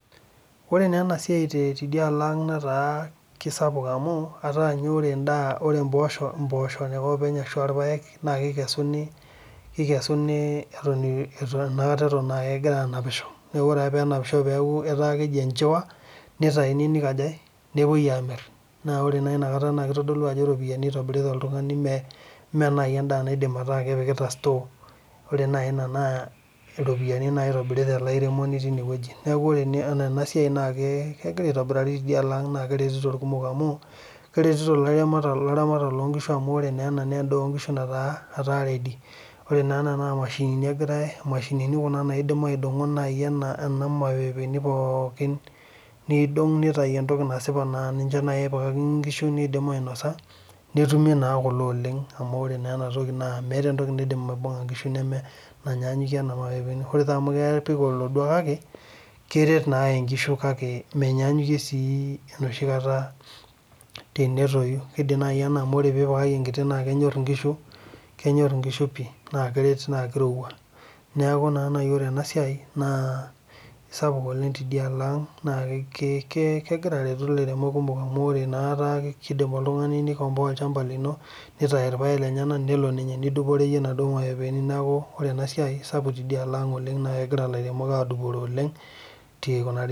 Ore naa ena siai tidialo ang, netaa kisapuk amu, etaa ninye endaa ore ipoosho ake openy ashu, ah irpaek naa kikesuni, kikesuni eton enakata eton ah kegira aanapisho. Neaku ore ake pee enapisho peaku etaa keji enchiwaa nitaini nikajae nepoi amir. Naa ore naa inakata naa kitodolu ajo iropiyani itobirita oltungani mee naaji endaa naidim ataa kepikita store. Ore naaji ina naa, iropiyani naaji itobirita ele airemoni tine wueji. Neaku ore enaa ena siai naa kegira aitobirari tidialo ang naa, keretito irkumok amu, keretito ilaramatak loonkishu amu, ore naa ena naa endaa onkishu nataa etaa ready . Ore naa ena naa imashinini kuna naidim aidongo naaji ena mapepeni pookin, nidong nitayu etoki nasipa naa nche naaji epikakini inkishu nidim ainosa netumi naa kule oleng amu, ore naa ena toki meeta etoki naidim aibunga inkishu neme naanyanyukie kuna mapepeni. Ore taa amu, kepik olodua kake keret naa inkishu kake menyaanyukie sii enoshi kata tenetoyu. Kidim naaji ena amu tenipikaki enkiti naa kenyor inkishu. Kenyor inkishu pi naa, keret naa kirowua. Neaku naa naaji ore ena siai naa isapuk oleng tidialo ang naa, kegira aretu ilairemok kumok amu etaa kidim oltungani nikomboa olchamba lino neitayu irpaek lenyenak nelo ninye nidupore iyie naaduo mapepeni. Neaku ore ena siai isapuk tidialo ang oleng naa, kegira ilairemok adupore oleng pi ore ake.